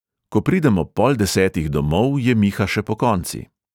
Ko pridem ob pol desetih domov, je miha še pokonci.